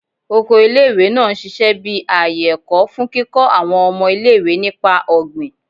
Oko ile-iwe naa n ṣiṣẹ bi aaye ẹkọ, fun kikọ awọn ọmọ ile-iwe nipa ogbin